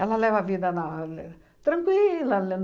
Ela leva a vida na le tranquila.